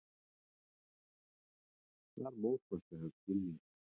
Þar mótmælti hann skilningi